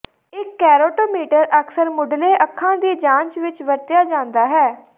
ਇੱਕ ਕੈਰੋਟੋਮੀਟਰ ਅਕਸਰ ਮੁਢਲੇ ਅੱਖਾਂ ਦੀ ਜਾਂਚ ਵਿੱਚ ਵਰਤਿਆ ਜਾਂਦਾ ਹੈ